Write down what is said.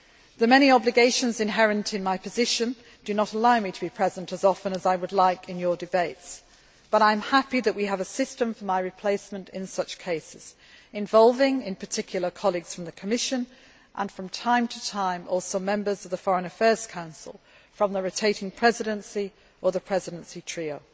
The many obligations inherent in my position do not allow me to be present as often as I would like in your debates, but I am happy that we have a system for my replacement in such cases, involving, in particular, colleagues from the Commission and, from time to time, also members of the Foreign Affairs Council, from the rotating Presidency or the Presidency trio.